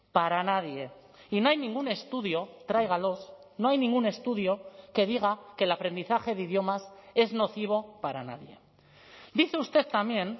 para nadie y no hay ningún estudio tráigalos no hay ningún estudio que diga que el aprendizaje de idiomas es nocivo para nadie dice usted también